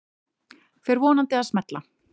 Fer vonandi að smella